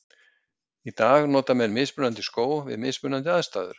Í dag nota menn mismunandi skó við mismunandi aðstæður.